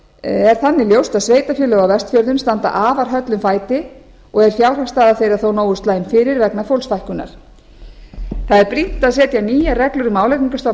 er þannig ljóst að sveitarfélög á vestfjörðum standa afar höllum fæti og er fjárhagsstaða þeirra þó nógu slæm fyrir vegna fólksfækkunar það er brýnt að setja nýjar reglur um álagningarstofn